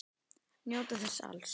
Njóta þess alls.